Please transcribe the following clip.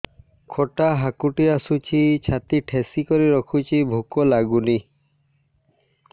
ଖଟା ହାକୁଟି ଆସୁଛି ଛାତି ଠେସିକରି ରଖୁଛି ଭୁକ ଲାଗୁନି